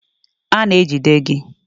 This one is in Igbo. A na-ejide gị.